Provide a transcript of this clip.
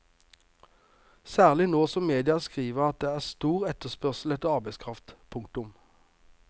Særlig nå som media skriver at det er stor etterspørsel etter arbeidskraft. punktum